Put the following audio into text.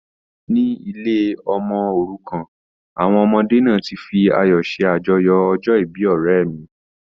Ní ilé ọmọ òrukàn, àwọn ọmọdé náà ti fi ayọ̀ ṣe àjọyọ̀ ọjọ́ ìbí ọ̀rẹ́ mi.